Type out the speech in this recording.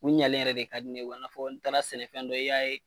U ɲalen yɛrɛ de ka di ne ye o la fɔ n taara sɛnɛfɛn dɔ i y'a ye